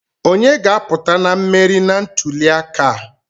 Onye ga-aputa na mmeri na ntuli aka a?